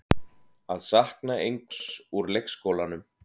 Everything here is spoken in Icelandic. Að sakna einhvers úr leikskólanum